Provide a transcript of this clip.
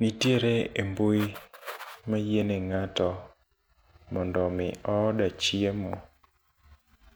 Nitiere e mbui mayiene ng'ato mondo mi order chiemo